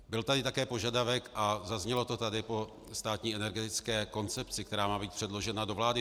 Byl tady také požadavek, a zaznělo to tady, po státní energetické koncepci, která má být předložena do vlády.